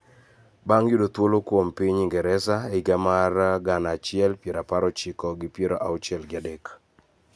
Bang� yudo thuolo kuom piny Ingresa e higa mar gana achiel piero apar ochiko gi piero auchiel gi adek.